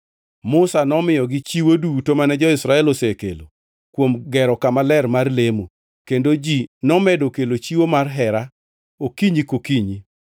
Musa nomiyogi chiwo duto mane jo-Israel osekelo kuom gero kama ler mar lemo, kendo ji nomedo kelo chiwo mar hera okinyi kokinyi.